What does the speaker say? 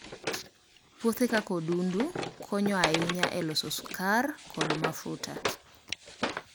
Puothe kaka odundu konyo ahinya e loso sukari kod mafuta.